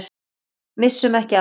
Missum ekki af því.